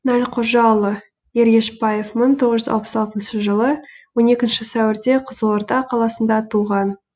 нәлқожаұлы ергешбаев мың тоғыз жүз алпыс алтыншы жылы он екінші сәуірде қызылорда қаласында туған